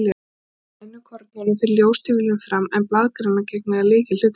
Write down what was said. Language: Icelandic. Í grænukornunum fer ljóstillífun fram, en blaðgrænan gegnir þar lykilhlutverki.